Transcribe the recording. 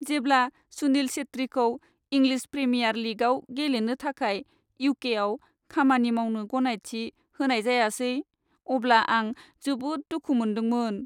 जेब्ला सुनील छेत्रीखौ English premier लीगआव गेलेनो थाखाय इउ.के.आव खामानि मावनो गनायथि होनाय जायासै अब्ला आं जोबोद दुखु मोन्दोंमोन।